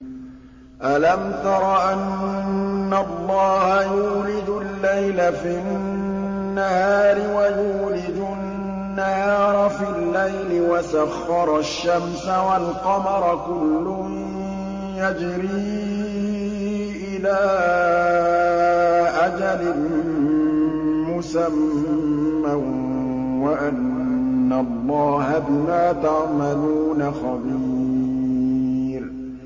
أَلَمْ تَرَ أَنَّ اللَّهَ يُولِجُ اللَّيْلَ فِي النَّهَارِ وَيُولِجُ النَّهَارَ فِي اللَّيْلِ وَسَخَّرَ الشَّمْسَ وَالْقَمَرَ كُلٌّ يَجْرِي إِلَىٰ أَجَلٍ مُّسَمًّى وَأَنَّ اللَّهَ بِمَا تَعْمَلُونَ خَبِيرٌ